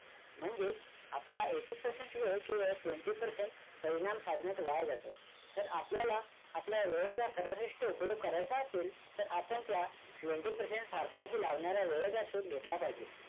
म्हणजेच आपला eighty percent वेळ केवळ twenty percent परिणाम साधण्यात वाया जातो. जर आपल्याला आपल्या वेळेचा सर्वश्रेष्ठ उपयोग करायचा असेल तर आपण त्या twenty percent सार्थकी लावणाऱ्या वेळेचा शोध घेतला पाहिजे.